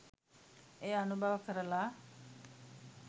එය අනුභව කරලා